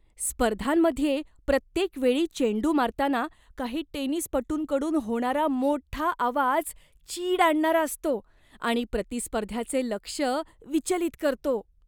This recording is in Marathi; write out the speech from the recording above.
स्पर्धांमध्ये प्रत्येक वेळी चेंडू मारताना काही टेनिसपटूंकडून होणारा मोठा आवाज चीड आणणारा असतो आणि प्रतिस्पर्ध्याचे लक्ष विचलित करतो.